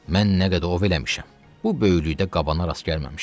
Mən nə qədər ov eləmişəm, bu böyüklükdə qabana rast gəlməmişəm.